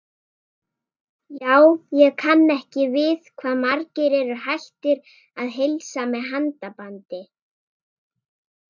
Já, ég kann ekki við hvað margir eru hættir að heilsa með handabandi.